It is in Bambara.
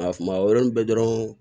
Nka kuma o yɔrɔnin bɛɛ dɔrɔn